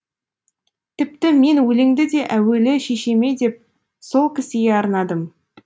тіпті мен өлеңді де әуелі шешеме деп сол кісіге арнадым